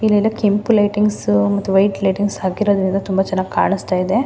ಇಲ್ಲೆಲ್ಲಾ ಕೆಂಪು ಲೈಟಿಂಗ್ಸ್ ಮತ್ತು ವೈಟ್ ಲೈಟಿಂಗ್ಸ್ ಹಾಕಿರೋದ್ರಿಂದ ತುಂಬ ಚೆನ್ನಾಗಿ ಕಾಣಿಸ್ತಾ ಇದೆ.